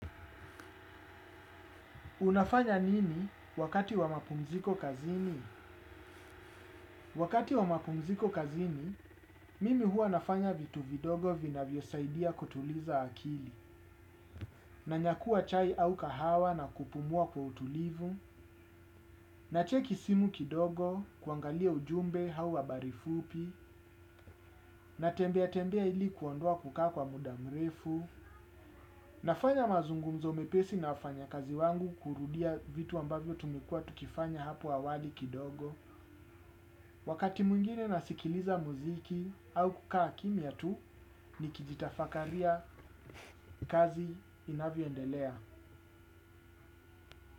Unafanya nini wakati wa mapumziko kazini? Wakati wa mapumziko kazini, mimi huwa nafanya vitu vidogo vinavyosaidia kutuliza akili, nanyakua chai au kahawa na kupumua kwa utulivu, nacheki simu kidogo, kuangalia ujumbe au habari fupi, natembea tembea ili kuondoa kukaa kwa muda mrefu, nafanya mazungumzo mepesi na wafanyakazi wangu kurudia vitu ambavyo tumekua tukifanya hapo awali kidogo, wakati mwingine nasikiliza muziki au kukaa kimya tu nikijitafakaria kazi inavyondelea.